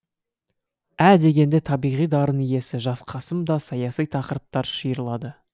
ә дегенде табиғи дарын иесі жас қасым да саяси тақырыптар шиырлады